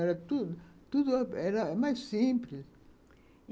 Era tudo tudo, era mais simples.